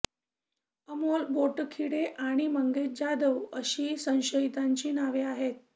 अमोल बोटखिडे आणि मंगेश जाधव अशी संशयितांची नावे आहेत